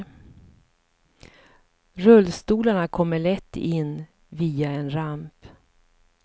Rullstolarna kommer lätt in via en ramp.